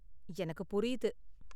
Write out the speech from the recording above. எனக்கு புரியுது.